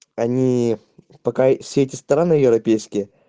они пока все эти страны европейские